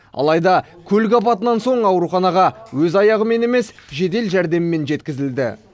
алайда көлік апатынан соң ауруханаға өз аяғымен емес жедел жәрдеммен жеткізілді